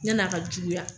Yan'a ka juguya